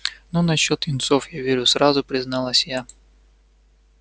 ну насчёт юнцов я верю сразу призналась я